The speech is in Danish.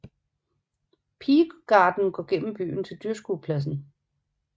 Pigegarden går gennem byen til dyrskuepladsen